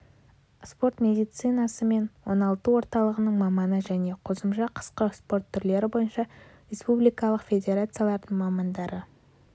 спорт медицинасы мен оңалту орталығының маманы және қосымша қысқы спорт түрлері бойынша республикалық федерациялардың мамандары